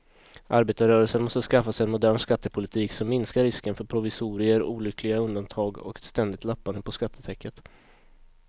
Arbetarrörelsen måste skaffa sig en modern skattepolitik som minskar risken för provisorier, olyckliga undantag och ett ständigt lappande på skattetäcket.